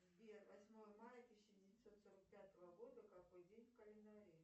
сбер восьмое мая тысяча девятьсот сорок пятого года какой день в календаре